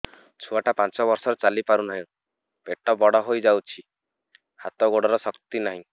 ଛୁଆଟା ପାଞ୍ଚ ବର୍ଷର ଚାଲି ପାରୁନାହଁ ପେଟ ବଡ ହୋଇ ଯାଉଛି ହାତ ଗୋଡ଼ର ଶକ୍ତି ନାହିଁ